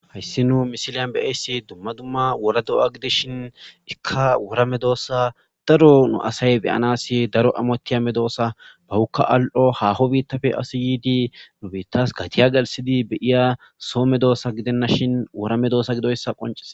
Hayssi nuu misiliyan be'eyssi dumma dumma wora do'a gide shin ikka worame doossa daro nu asay beyanasi daro amotiya medoossa bawukka al'o haho biittafe asiyidi nu biittas gatiya galisidi beyiya soo me doossa gidennashin worame doosa gidoyssa qonces